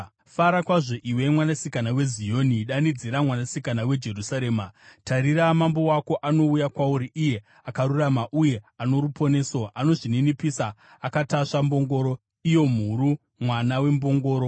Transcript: Fara kwazvo, iwe Mwanasikana weZioni! Danidzira, Mwanasikana weJerusarema! Tarira, mambo wako anouya kwauri, iye akarurama uye ano ruponeso, anozvininipisa akatasva mbongoro, iyo mhuru, mwana wembongoro.